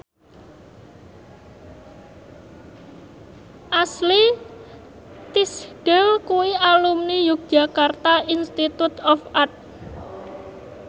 Ashley Tisdale kuwi alumni Yogyakarta Institute of Art